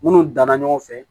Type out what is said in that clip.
Minnu danna ɲɔgɔn fɛ